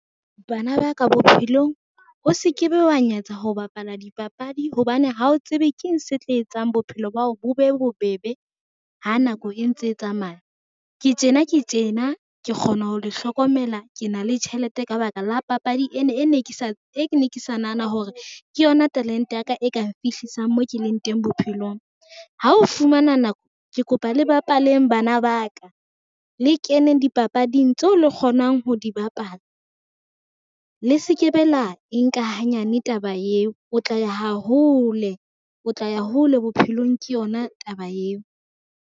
Bana ba ka bophelong o se ke be wa nyetsa ho bapala dipapadi hobane, ha o tsebe keng se tla etsang bophelo ba hao bo be bobebe ha nako e ntse e tsamaya. Ke tjena ke tjena ke kgona ho le hlokomela, ke na le tjhelete ka ba ka la papadi e ne ke sa nahana hore ke yona talente ya ka e kang fihlisang mo ke leng teng bophelong. Ha o fumana nako ke kopa le bapaleng bana ba ka, le keneng dipapading tseo le kgonang ho di bapala, le se ke be la e nka hanyane taba eo o tla ya ha hole, o tla ya hole bophelong ke yona taba eo.